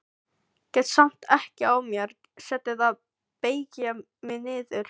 Get samt ekki á mér setið að beygja mig niður.